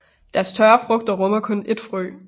Deres tørre frugter rummer kun ét frø